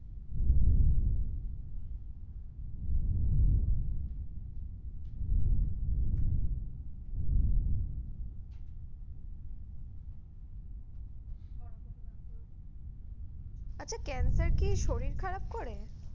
আচ্ছা cancer কি শরীর খারাপ করে?